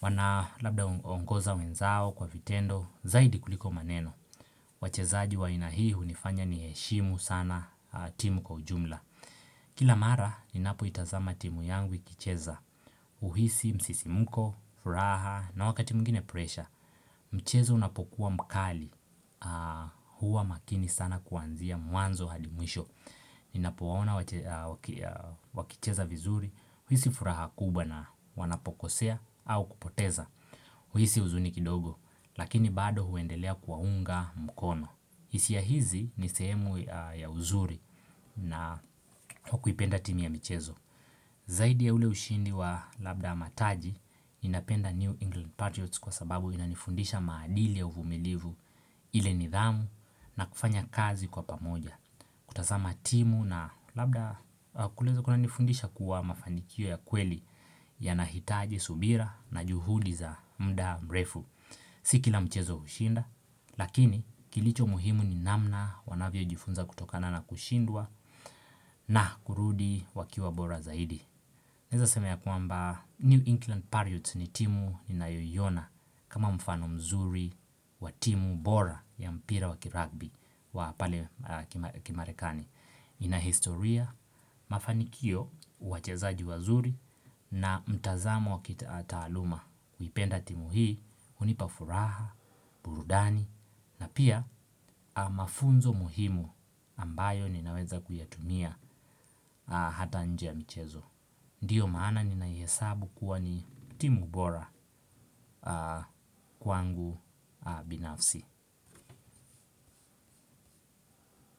wana labda ongoza wenzao kwa vitendo Zaidi kuliko maneno wachezaji wa aina hii unifanya niheshimu sana timu kwa ujumla Kila mara ninapo itazama timu yangu ikicheza uhisi, msisimuko, furaha na wakati mwingine pressure Mchezo unapokuwa mkali Huwa makini sana kuanzia mwanzo hadi mwisho Ninapowaona wakicheza vizuri, huisi furaha kubwa na wanapokosea au kupoteza, huisi uzuni kidogo, lakini bado huendelea kuwaunga mkono. Hisia ya hizi ni sehemu ya uzuri na hukuipenda timu ya mchezo. Zaidi ya ule ushindi wa Labda mataji, ninapenda New England Patriots kwa sababu inanifundisha maadili ya uvumilivu ile nidhamu na kufanya kazi kwa pamoja. Kutazama timu na labda kuleza kuna nifundisha kuwa mafanikio ya kweli yanahitaji subira na juhudi za mda mrefu. Sikila mchezo ushinda, lakini kilicho muhimu ni namna wanavyo jifunza kutokana na kushindwa na kurudi wakiwa bora zaidi. Naeza sema kwamba New England Pariots ni timu ninayoiona kama mfano mzuri wa timu bora ya mpira waki rugby wa pale kimarekani. Inahistoria, mafanikio, wachezaji wazuri na mtazamo wakitaataluma. Kuipenda timu hii, unipafuraha, burudani, na pia mafunzo muhimu ambayo ninaweza kuyatumia hata nje ya mchezo. Ndiyo maana ninaihesabu kuwa ni timu bora kwangu binafsi.